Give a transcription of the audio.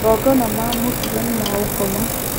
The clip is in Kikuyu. Magongona ma mũtugo nĩ maũngoma